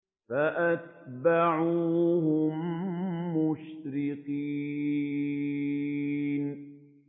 فَأَتْبَعُوهُم مُّشْرِقِينَ